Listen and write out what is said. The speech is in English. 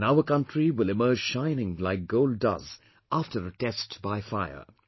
And our country will emerge shining like gold does after a test by fire